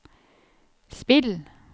spill